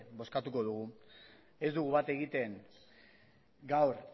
bozkatuko dugu ez dugu bat egiten gaur